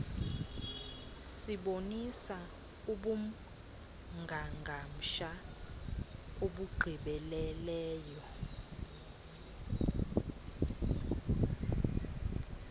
sibonisa ubungangamsha obugqibeleleyo